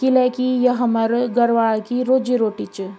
किले की ये हमर गढ़वाल की रोजी रोटी च ।